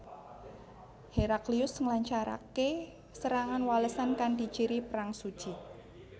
Heraklius nglancaraké serangan walesan kanthi ciri perang suci